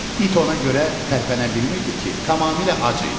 İt ona görə tərpənə bilmirdi ki, tamamilə ac idi.